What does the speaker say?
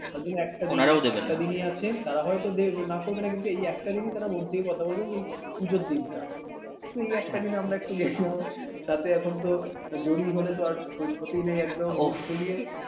ওজন্য একটা দিন একটা দিনই আসে তারা হয়তো দেখে না করবেনা কিন্তু এখনি একটা দিনই তারা মন দিয়ে কথা বলবে পুজোর দিনটা তো এই একটা দিনই আমরা একটু গেলাম সাথে এখন তো জড় হলে তো আর ক্ষতি নেই একদম বুক ফুলিয়ে